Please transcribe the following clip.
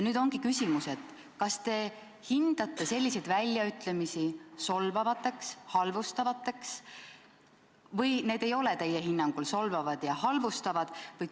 Nüüd ongi küsimus, kas te hindate selliseid väljaütlemisi solvavateks ja halvustavateks või ei ole need teie hinnangul solvavad ja halvustavad.